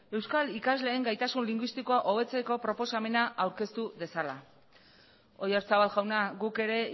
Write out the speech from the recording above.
euskal ikasleen gaitasun linguistikoa hobetzeko proposamena aurkeztu dezala oyarzabal jauna guk ere